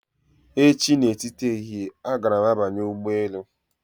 Echi na etiti ehihie, agara m banye ụgbọ elu